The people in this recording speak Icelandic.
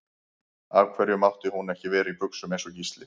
Af hverju mátti hún ekki vera í buxum eins og Gísli?